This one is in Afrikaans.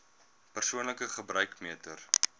persoonlike gebruik meter